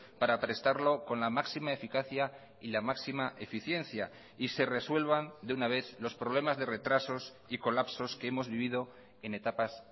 para prestarlo con la máxima eficacia y la máxima eficiencia y se resuelvan de una vez los problemas de retrasos y colapsos que hemos vivido en etapas